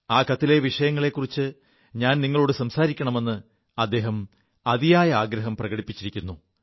ആ കത്തിലെ വിഷയങ്ങളെക്കുറിച്ച് ഞാൻ സംസാരിക്കണമെ് അദ്ദേഹം അതിയായ ആഗ്രഹം പ്രകടിപ്പിച്ചിരിക്കുു